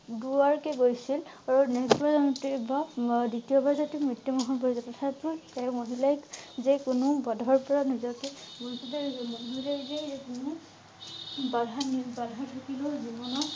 দুবাৰকৈ গৈছিল আৰু next বাৰ যাওঁতে বা দ্বিতীয় বাৰ যাওঁতে মৃত্যু মুখত পৰ তথাপিও তাই মহিলাক যে কোনো বাধাৰ পৰা নিজকে বাধানিবাধা থাকিলেও জীৱনত